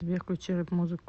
сбер включите рэп музыку